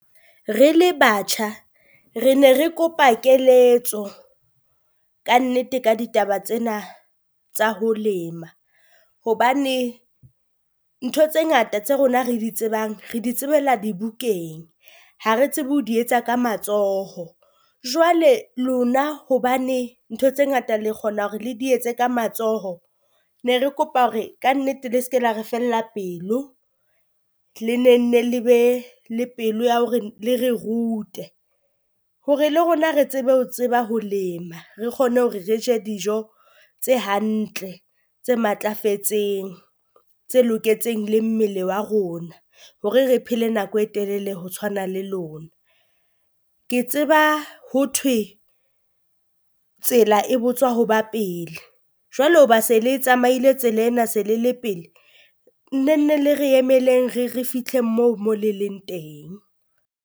Re le batjha re ne re kopa keletso kannete ka ditaba tsena tsa ho lema, hobane ntho tse ngata tse rona re di tsebang re di tsebella dibukeng, ha re tsebe ho di etsa ka matsoho. Jwale lona hobane ntho tse ngata le kgona hore le di etse ka matsoho ne re kopa hore kannete le se ke la re fella pelo, le ne nne le be le pelo ya hore le re rute hore le rona re tsebe ho tseba ho lema. Re kgone hore re je dijo tse hantle tse matlafetseng tse loketseng le mmele wa rona, hore re phele nako e telele ho tshwana le lona. Ke tseba ho thwe tsela e botswa ho ba pele jwalo hoba se le tsamaile tsela ena se le le pele, nne nne le re emeleng re re fihle moo mo le leng teng.